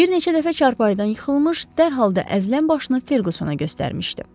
Bir neçə dəfə çarpayıdan yıxılmış, dərhal da əzələn başını Ferqusuna göstərmişdi.